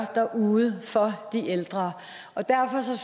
derude for de ældre derfor